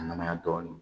A nana dɔɔnin